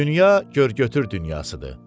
Dünya görgötür dünyasıdır.